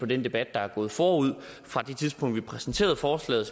den debat der er gået forud fra det tidspunkt vi præsenterede forslaget